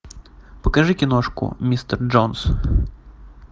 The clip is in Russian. покажи киношку мистер джонс